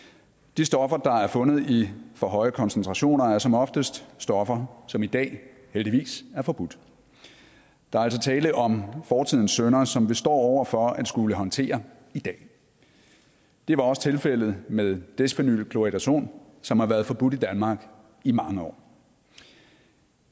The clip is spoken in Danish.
de stoffer der er fundet i for høje koncentrationer er som oftest stoffer som i dag heldigvis er forbudt der er altså tale om fortidens synder som vi står over for at skulle håndtere i dag det er også tilfældet med desphenyl chloridazon som har været forbudt i danmark i mange år